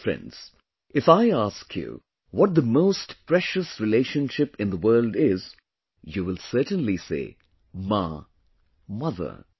My dear friends, if I ask you what the most precious relationship in the world is, you will certainly say – “Maa”, Mother